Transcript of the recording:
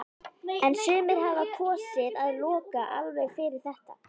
En sumir hafa kosið að loka alveg fyrir þetta.